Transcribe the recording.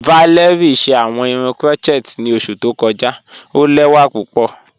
Valérie ṣẹ awọn irun crotchet ni oṣù tó kọja, o lẹwa pupọ.